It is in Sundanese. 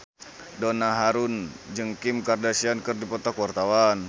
Donna Harun jeung Kim Kardashian keur dipoto ku wartawan